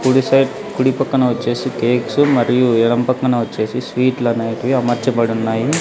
కుడి సైడ్ కుడి పక్కన వచ్చేసి కేక్స్ మరియు ఎడమ పక్కన వచ్చేసి స్వీట్లూ అనేటివి అమర్చబడి ఉన్నాయి.